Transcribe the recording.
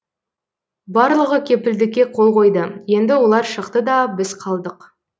барлығы кепілдікке қол қойды енді олар шықты да біз қалдық